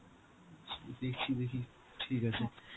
দেখছি দেখি, ঠিক আছে